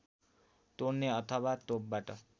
तोड्ने अथवा तोपबाट